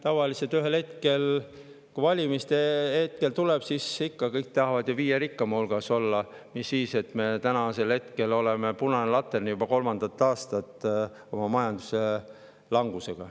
Tavaliselt ühel hetkel valimiste ajal tahavad kõik ikka viie rikkaima hulgas olla, mis siis, et me oleme juba kolmandat aastat punane latern oma majanduslangusega.